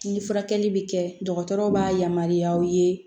Ni furakɛli bɛ kɛ dɔgɔtɔrɔ b'a yamaruya aw ye